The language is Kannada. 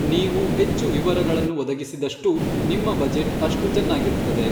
ನೀವು ಹೆಚ್ಚು ವಿವರಗಳನ್ನು ಒದಗಿಸಿದಷ್ಟೂ, ನಿಮ್ಮ ಬಜೆಟ್ ಅಷ್ಟು ಚೆನ್ನಾಗಿರುತ್ತದೆ.